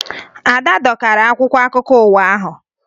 Ada dọkara akwụkwọ akụkọ ụwa ahụ